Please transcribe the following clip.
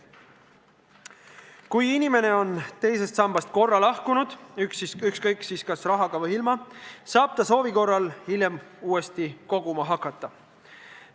Kui inimene on teisest sambast korra lahkunud – ükskõik, kas rahaga või ilma –, saab ta soovi korral hiljem uuesti koguma hakata.